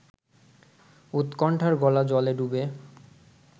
উৎকণ্ঠার গলা-জলে ডুবে